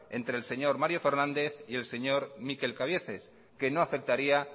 entre el señor mario fernández y el señor mikel cabieces que no afectaría